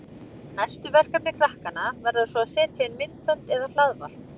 Næstu verkefni krakkanna verða svo að setja inn myndbönd eða hlaðvarp.